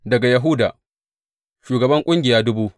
Daga Yahuda, shugaban ƙungiya dubu daya.